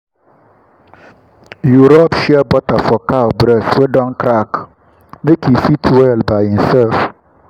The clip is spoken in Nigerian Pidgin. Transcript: you put rub shea butter for cow breast wey don crack make e fit well by inself.